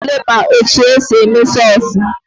Mmadụ ole ma etu e si eme sọsụ?